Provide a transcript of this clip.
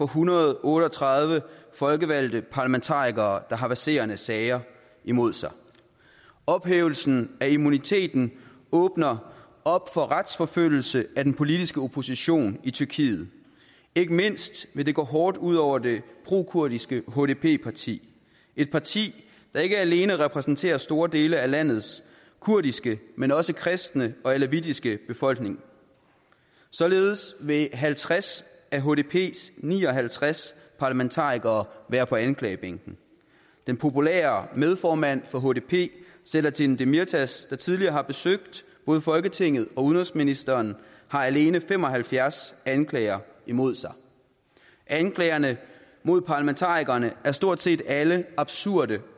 hundrede og otte og tredive folkevalgte parlamentarikere der har verserende sager imod sig ophævelsen af immuniteten åbner op for retsforfølgelse af den politiske opposition i tyrkiet ikke mindst vil det gå hårdt ud over det pro kurdiske hdp parti et parti der ikke alene repræsenterer store dele af landets kurdiske men også kristne og alevittiske befolkning således vil halvtreds af hdps ni og halvtreds parlamentarikere være på anklagebænken den populære medformand for hdp selahattin demirtaş der tidligere har besøgt både folketinget og udenrigsministeren har alene fem og halvfjerds anklager imod sig anklagerne mod parlamentarikerne er stort set alle absurde